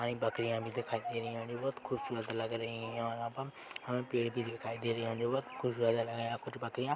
बकरिया भी दिखाई दे रही है जो बहोत खूबसूरत भी लग रही है और यहाँ पर हमे पेड़ भी दिखाई दे रहे है जो बहोत खूबसूरत लग रहे है पर कुछ बकरिया --